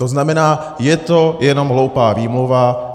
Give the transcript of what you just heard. To znamená, je to jenom hloupá výmluva.